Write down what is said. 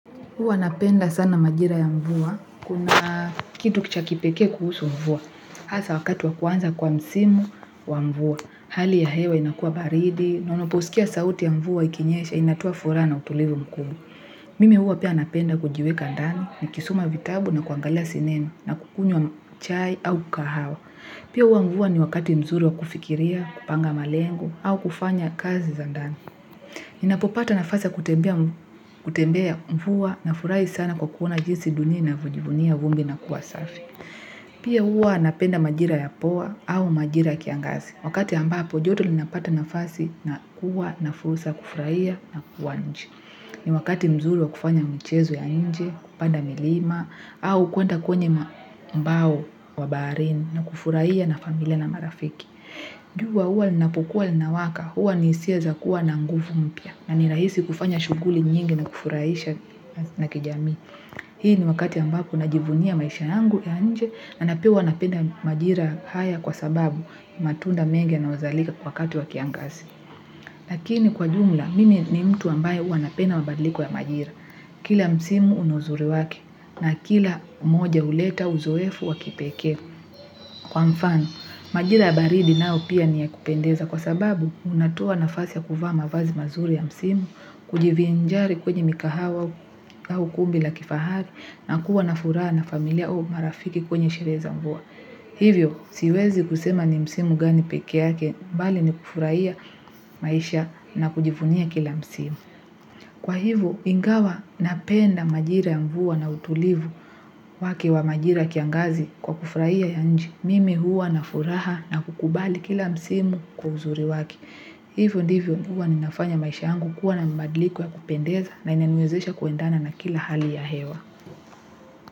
Huwa napenda sana majira ya mvua. Kuna kitu ki cha kipekee kuhusu mvua. Hasa wakati wa kuanza kwa msimu wa mvua. Hali ya hewa inakua baridi na unaposikia sauti ya mvua ikinyesha inatoa furaha na utulivu mkubwa. Mimi huwa pia napenda kujiweka ndani nikisoma vitabu na kuangalia sinema na kukunywa chai au kahawa. Pia huwa mvua ni wakati mzuri wa kufikiria, kupanga malengo au kufanya kazi za ndani. Ninapopata nafasi ya kutembea mvua nafurahi sana kwa kuona jinsi dunia inavojivunia vumbi na kuwa safi. Pia huwa napenda majira ya poa au majira ya kiangazi. Wakati ambapo joto linapata nafasi na kuwa na fursa ya kufuraia na kuwa nje. Ni wakati mzuri wa kufanya mchezo ya nje, kupanda milima, au kuenda kwenye mbao wa baharini na kufuraia na familia na marafiki. Jua huwa linapokua linawaka huwa ni hisia za kuwa na nguvu mpya na ni rahisi kufanya shughuli nyingi na kufuraisha na kijamii. Hii ni wakati ambapo najivunia maisha yangu ya nje na na pia huwa napenda majira haya kwa sababu matunda mengi yanawezalika wakati wa kiangasi. Lakini kwa jumla mimi ni mtu ambaye huwa napenda mabadiliko ya majira. Kila msimu una uzuri wake na kila moja huleta uzoefu wa kipekee. Kwa mfano, majira baridi nao pia ni ya kupendeza kwa sababu unatoa nafasi ya kuvaa mavazi mazuri ya msimu, kujivinjari kwenye mikahawa au ukumbi la kifahari na kuwa na furaha na familia au marafiki kwenye sherehe za mvua. Hivyo, siwezi kusema ni msimu gani peke yake bali ni kufurahia maisha na kujivunia kila msimu. Kwa hivyo, ingawa napenda majira ya mvua na utulivu wake wa majira ya kiangazi kwa kufraia ya nje. Mimi huwa na furaha na kukubali kila msimu kwa uzuri wake. Hivyo ndivyo huwa ninafanya maisha yangu kuwa na mbadiliko ya kupendeza na inaniwezesha kuendana na kila hali ya hewa.